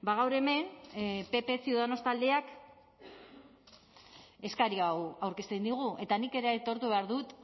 gaur hemen pp ciudadanos taldeak eskari hau aurkezten digu eta nik ere aitortu behar dut